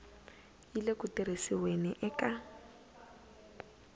yi le ku tirhisiweni eka